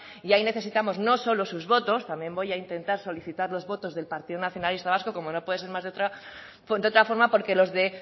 y ahí necesitamos no solo sus votos también voy a intentar solicitar los votos del partido nacionalista vasco como no puede ser más de otra forma porque los de